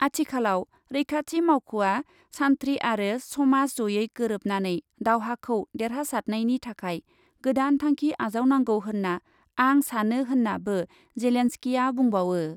आथिखालाव रैखाथि मावख'आ सान्थ्रि आरो समाज जयै गोरोबनानै दावहाखौ देरहादासनायनि थाखाय गोदान थांखि आजावनांगौ होन्ना आं सानो होन्नाबो जेलेनस्किआ बुंबावो।